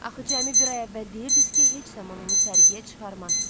Axı cəmi bir ay əvvəl deyirdiz ki, heç zaman onu sərgiyə çıxarmazsız.